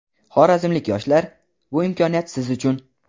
Xorazmlik yoshlar, bu imkoniyat siz uchun.